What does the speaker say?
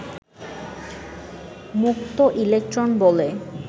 মুক্ত ইলেকট্রন বলে